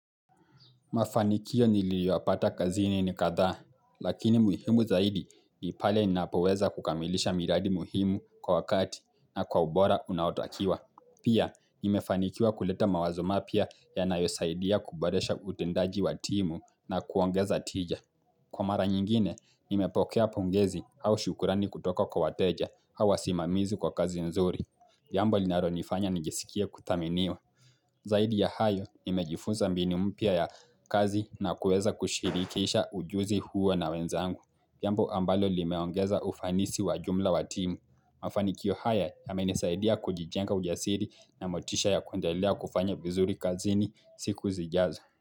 Mafanikio niliyoyapata kazini ni kadhaa, lakini muhimu zaidi ni pale ninapoweza kukamilisha miradi muhimu kwa wakati na kwa ubora unaotakiwa. Pia, nimefanikiwa kuleta mawazo mapya ya nayosaidia kuboresha utendaji wa timu na kuongeza tija. Kwa mara nyingine, nime pokea pongezi au shukurani kutoka kwa wateja hawasimamizi kwa kazi nzuri. Jambo linaro nifanya nijisikia kuthaminiwa. Zaidi ya hayo, nimejifunza mbinu mpya ya kazi na kuweza kushirikisha ujuzi huwa na wenzangu. Jambo ambalo limeongeza ufanisi wa jumla wa timu. Mafanikio haya yamenisaidia kujijenga ujasiri na motisha ya kuendelea kufanya vizuri kazini siku zijazo.